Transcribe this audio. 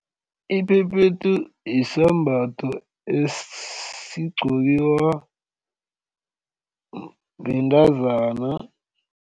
Iphephethu yisembatho esigqokiwa bantazana.